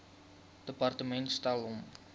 departement stel hom